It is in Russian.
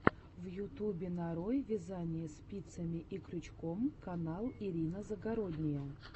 в ютубе нарой вязание спицами и крючком канал ирина загородния